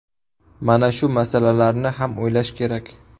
Mana shu masalalarni ham o‘ylash kerak.